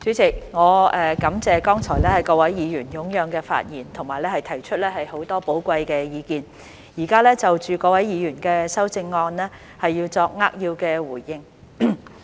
主席，我感謝剛才各位議員踴躍的發言和提出很多寶貴的意見，現在就着各位議員的修正案作扼要的回應。